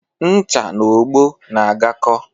Ncha na ogbo na-agakọ